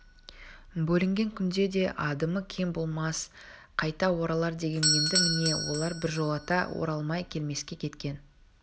бөлінген күнде де адымы кең болмас қайта оралар деген енді міне олар біржолата оралмай келмеске кеткен